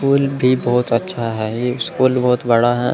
School भी बहोत अच्छा है ये स्कूल बहोत बड़ा है।